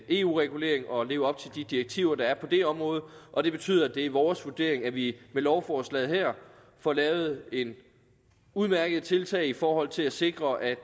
eu reguleringen og at leve op til de direktiver der er på det område og det betyder at det er vores vurdering at vi med lovforslaget her får lavet et udmærket tiltag i forhold til at sikre at